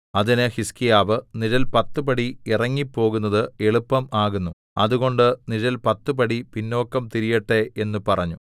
അതിന് ഹിസ്കീയാവ് നിഴൽ പത്ത് പടി ഇറങ്ങിപ്പോകുന്നത് എളുപ്പം ആകുന്നു അതുകൊണ്ട് നിഴൽ പത്ത് പടി പിന്നോക്കം തിരിയട്ടെ എന്ന് പറഞ്ഞു